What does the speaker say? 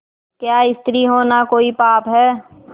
क्या स्त्री होना कोई पाप है